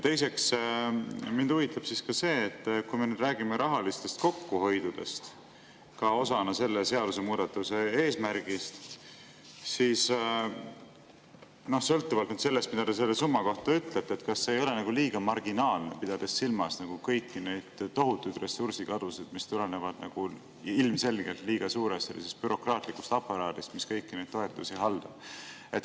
Teiseks, mind huvitab ka see, et kui me räägime rahalisest kokkuhoiust osana selle seadusemuudatuse eesmärgist, siis sõltuvalt sellest, mida te selle summa kohta ütlete, kas see ei ole nagu liiga marginaalne, pidades silmas kõiki neid tohutuid ressursikadusid, mis tulenevad ilmselgelt liiga suurest bürokraatlikust aparaadist, mis kõiki neid toetusi haldab.